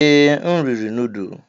Ee, m riri nudu.